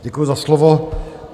Děkuji za slovo.